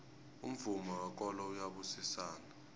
umvumo wekolo uyabusisana